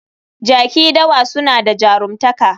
Jaki dawa suna da jaruntaka